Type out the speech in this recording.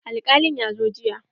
Alƙalin ya zo jiya.